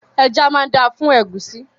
Ẹja máa dáa fún ẹ̀gúsí.